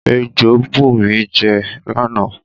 Ejò bù mi jẹ lána